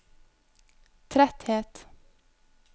tretthet